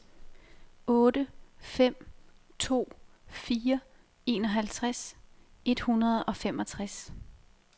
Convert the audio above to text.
otte fem to fire enoghalvtreds et hundrede og femogtres